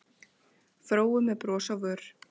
Fóru með bros á vör